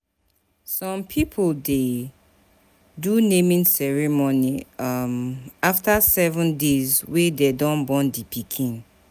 Some pipo de do naming ceremony after um 7 days wey dem don born di pikin